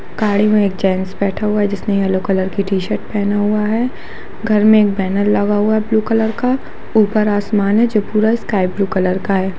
गाड़ी मे एक जेंट्स बैठा हुआ है जिसने येलो कलर की टी_शर्ट पहना हुआ है घर में एक बैनर लगा हुआ है ब्लू कलर का ऊपर आसमान है जो पूरा स्काईब्लू कलर का है।